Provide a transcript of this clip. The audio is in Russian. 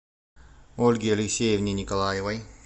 ольге алексеевне николаевой